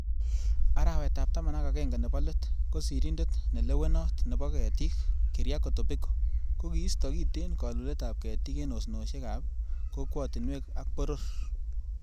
Arawet ab taman ak agenge nebo let, ko sirindet nelewonot nebo ketik, Keriako Tobiko kokiisto kiten kolulet ab ketik en osnosiek ab kokwotuniek ak boror.